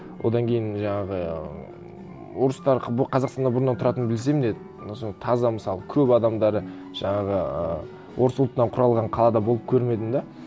одан кейін жаңағы орыстар қазақстанда бұрыннан тұратынын білсем де соны таза мысалы көп адамдары жаңағы орыс ұлтынан құралған қалада болып көрмедім де